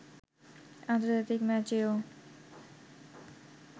আন্তর্জাতিক ম্যাচেও